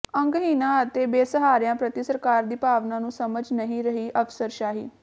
ਅੰਗਹੀਣਾਂ ਅਤੇ ਬੇਸਹਾਰਿਆਂ ਪ੍ਰਤੀ ਸਰਕਾਰ ਦੀ ਭਾਵਨਾ ਨੂੰ ਸਮਝ ਨਹੀਂ ਰਹੀ ਅਫ਼ਸਰਸ਼ਾਹੀ